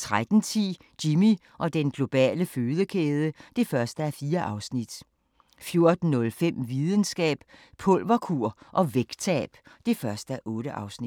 13:10: Jimmy og den globale fødekæde (1:4) 14:05: Videnskab: Pulverkur og vægttab (1:8)